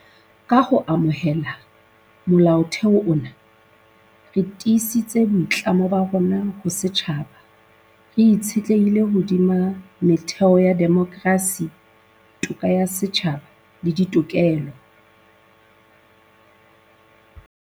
Ka ho amohela Molaotheo ona, re tiisitse boitlamo ba rona ho setjhaba re itshetlehileng hodima metheo ya demokrasi, toka ya setjhaba le dirokelo tsa